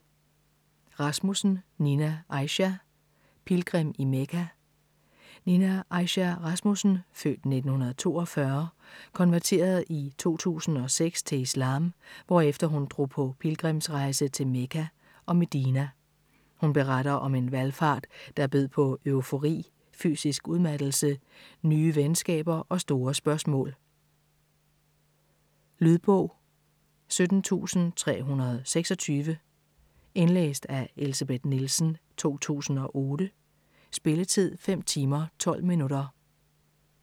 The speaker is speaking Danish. Rasmussen, Nina Aisha: Pilgrim i Mekka Nina Aisha Rasmussen (f. 1942) konverterede i 2006 til islam, hvorefter hun drog på pilgrimsrejse til Mekka og Medina. Hun beretter om en valfart, der bød på eufori, fysisk udmattelse, nye venskaber og store spørgsmål. Lydbog 17326 Indlæst af Elsebeth Nielsen, 2008. Spilletid: 5 timer, 12 minutter.